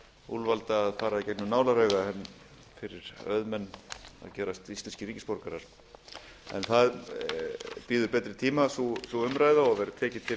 úlfalda að fara í gegnum nálarauga en fyrir auðmenn að gerast íslenskir ríkisborgarar en sú umræða bíður betri tíma og verður tekið til